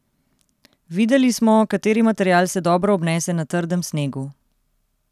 Videli smo, kateri material se dobro obnese na trdem snegu.